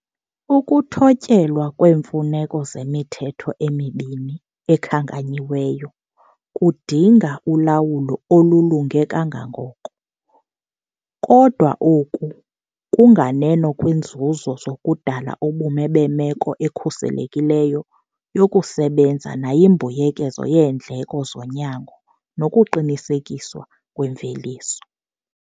Ukuthotyelwa kweemfuneko zemithetho emibini ekhankanyiweyo kudinga ulawulo olulunge kangangoko. Kodwa, oku kunganeno kwiinzuzo zokudala ubume bemeko ekhuselekileyo yokusebenza nayimbuyekezo yeendleko zonyango nokuqinisekiswa kwemveliso.